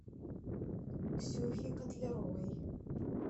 ксюхе котляровой